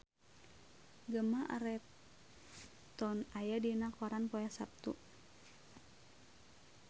Gemma Arterton aya dina koran poe Saptu